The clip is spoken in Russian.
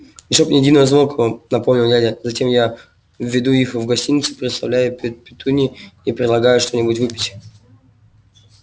и чтоб ни единого звука напомнил дядя затем я веду их в гостиную представляю петунье и предлагаю что-нибудь выпить